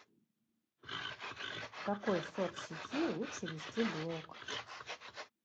в какой соцсети лучше вести блог